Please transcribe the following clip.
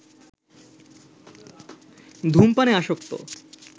ধূমপানে আসক্ত